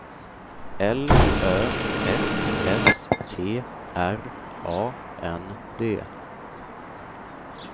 L Ö F S T R A N D